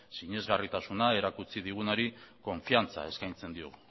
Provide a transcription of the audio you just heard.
sinesgarritasuna erakutsi digunari konfidantza eskaintzen diogu